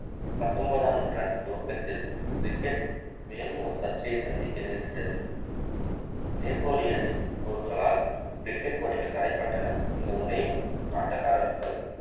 பத்தொன்பதாம் நூற்றாண்டின் துவக்கத்தில் cricket மேலும் ஒரு சர்ச்சையை சந்திக்க நேரிட்டது அணி போர்களால் cricket போட்டிகள் தடைபட்டன இந்த முறையும் ஆட்டகாரர்கள்